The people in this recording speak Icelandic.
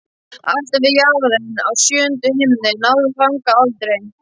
Alltaf við jaðarinn á sjöunda himni, en náði þangað aldrei.